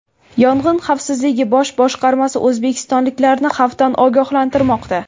Yong‘in xavfsizligi bosh boshqarmasi o‘zbekistonliklarni xavfdan ogohlantirmoqda.